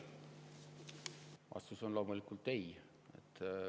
Vastus on loomulikult ei.